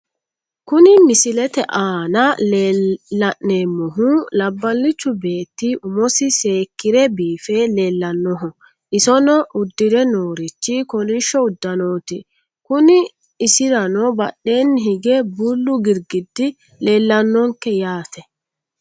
Kuni misilete aana la'neemmohu labbalichu beetti umosi seekkire biife leellannoho, isino uddire noorichi kolishsho uddanooti, kuni isirano badheenni hige bullu girgiddi leellannonke yaate.